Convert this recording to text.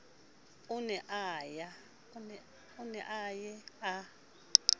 o ne a ye a